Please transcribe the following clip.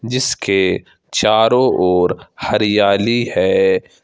जिसके चारों ओर हरियाली है।